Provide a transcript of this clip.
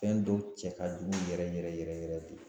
Fɛn dɔw cɛ ka jugu yɛrɛ yɛrɛ yɛrɛ yɛrɛ de.